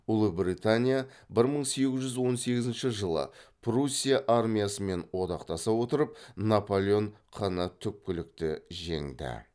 ұлыбритания бір мың сегіз жүз он сегізінші жылы пруссия армиясымен одақтаса отырып наполеон қ ні түпкілікті жеңді